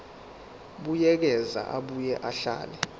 buyekeza abuye ahlele